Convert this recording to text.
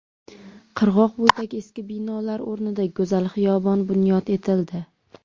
Qirg‘oq bo‘yidagi eski binolar o‘rnida go‘zal xiyobon bunyod etildi.